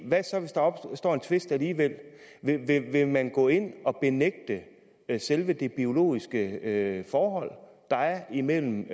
hvad så hvis der opstår en tvist alligevel vil man gå ind og benægte selve det biologiske forhold der er imellem